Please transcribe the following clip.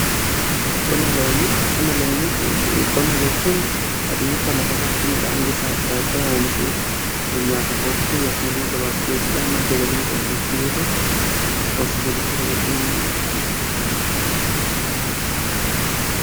qonna jechuun adeemsa lafa irratti midhaan gosa adda addaa oomishuuf, nyaataf oolchuu yookiin immoo gabaaf dhiyessuudhaan madda galii irraa argachuudha.